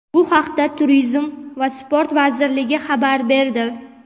bu haqda Turizm va sport vazirligi xabar berdi.